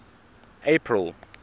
april